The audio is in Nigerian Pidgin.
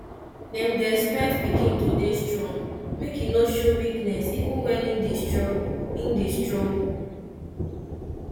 dem dey expect pikin to dey strong make e no show weakness even when im dey struggle im dey struggle